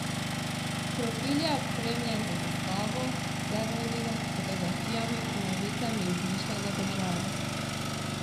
Profil je opremljen z zastavo, zemljevidom, fotografijami in novicami iz izmišljene države.